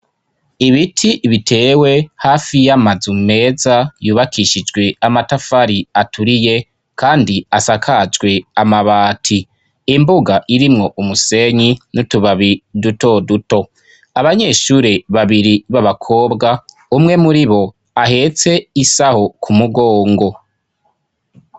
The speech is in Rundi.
Ibiti bitewe hafi y'amazu meza yubakishijwe amatafari aturiye kandi asakajwe amabati. Imbuga irimwo umusenyi n'utubabi dutoduto. Abanyeshure babiri b'abakobwa, umwe muribo ahetse isaho ku mugongo.